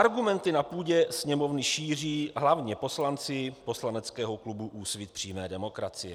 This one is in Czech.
Argumenty na půdě Sněmovny šíří hlavně poslanci poslaneckého klubu Úsvit přímé demokracie.